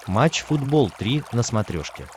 матч футбол три на смотрешке